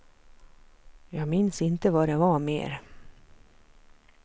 Jag minns inte vad det var mer.